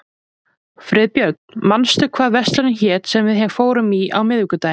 Friðbjörn, manstu hvað verslunin hét sem við fórum í á miðvikudaginn?